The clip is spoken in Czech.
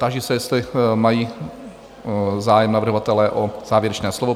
Táži se, jestli mají zájem navrhovatelé o závěrečné slovo?